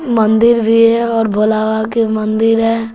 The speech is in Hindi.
मंदिर भी है और भोला बाबा के मंदिर है।